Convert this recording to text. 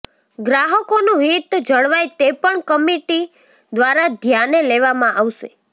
ગ્રાહકોનું હિત જળવાય તે પણ કમિટી દ્વારા ધ્યાને લેવામાં આવશે